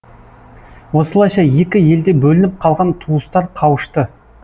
осылайша екі елде бөлініп қалған туыстар қауышты